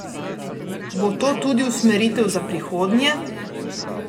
Bo to tudi usmeritev za prihodnje?